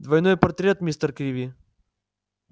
двойной портрет мистер криви